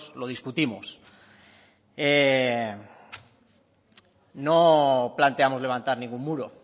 lo discutimos no planteamos levantar ningún muro